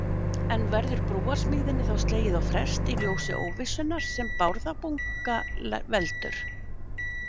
En verður brúarsmíðinni þá slegið á frest í ljósi óvissunnar sem Bárðarbunga veldur?